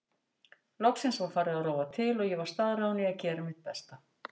Loksins var farið að rofa til og ég var staðráðin í að gera mitt besta.